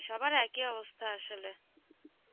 সবার একই অবস্থা আসলে.